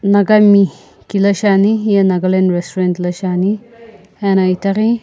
naga mi kila shiani hiye nagaland restaurant la shiani ena itaghi.